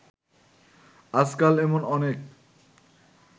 আজকাল এমন অনেক